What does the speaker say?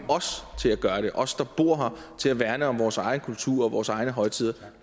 os os der bor her til at værne om vores egen kultur og vores egne højtider